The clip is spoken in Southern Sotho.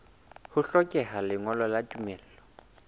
ho hlokeha lengolo la tumello